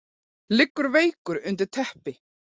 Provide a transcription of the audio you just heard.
Liggur veikur undir teppi.